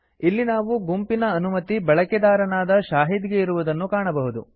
ಇಲ್ಲಿ ನಾವು ಗುಂಪಿನ ಅನುಮತಿ ಬಳಕೆದಾರನಾದ ಶಾಹಿದ್ ಗೆ ಇರುವುದನ್ನು ಕಾಣಬಹುದು